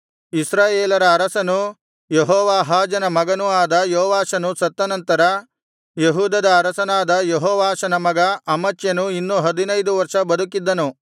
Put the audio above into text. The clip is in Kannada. ಇಸ್ರಾಯೇಲರ ಅರಸನೂ ಯೆಹೋವಾಹಾಜನ ಮಗನೂ ಆದ ಯೋವಾಷನು ಸತ್ತ ನಂತರ ಯೆಹೂದದ ಅರಸನಾದ ಯೆಹೋವಾಷನ ಮಗ ಅಮಚ್ಯನು ಇನ್ನೂ ಹದಿನೈದು ವರ್ಷ ಬದುಕಿದ್ದನು